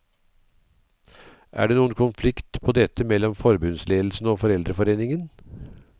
Er det noen konflikt på dette mellom forbundsledelsen og foreldreforeningen?